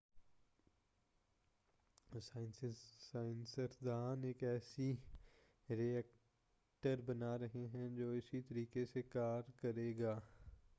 سائنزس داں ایک ایسا ری ایکٹر بنا رہے ہیں جو اسی طریقہ سے کار کرے گا